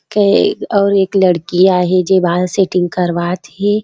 के अउ एक लड़कि आहे जे बाल सेटिंग करवात हे।